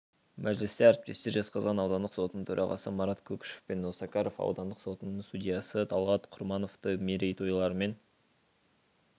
мәжілісте әріптестер жезқазған аудандық сотының төрағасы марат көкішев пен осакаров аудандық сотының судьясы талғат құрмановты мерейтойларымен